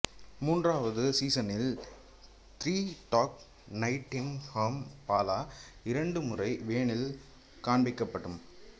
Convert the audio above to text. மூன்றாவது சீசனில் three dog நைட்டின்ஷாம்பாலா இரண்டு முறை வேனில் காண்பிக்கப்படும்